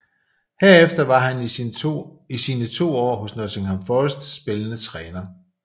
Herefter var han i sine to år hos Nottingham Forest spillende træner